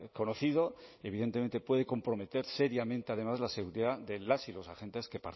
conocido evidentemente puede comprometer seriamente además la seguridad de las y los agentes